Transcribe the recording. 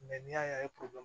Mɛ n'i y'a ye